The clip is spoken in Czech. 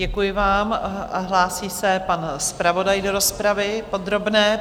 Děkuji vám a hlásí se pan zpravodaj do rozpravy podrobné.